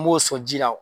N b'o sɔn ji la